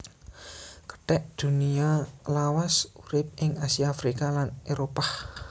Kethek Dunia lawas urip ing Asia Afrika lan Éropah